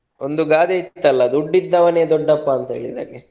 ಒಂದು ಗಾದೆ ಇತ್ತಲ್ಲ ದುಡ್ಡು ಇದ್ದವನೆ ದೊಡ್ಡಪ್ಪ ಅಂತ ಹೇಳಿದ ಹಾಗೆ.